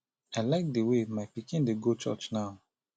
i like the way my pikin dey go church now